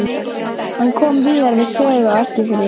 Hann kom víðar við sögu á Eskifirði.